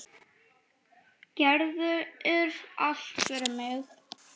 Gerðir allt fyrir mig.